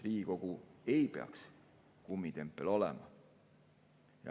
Riigikogu ei peaks kummitempel olema.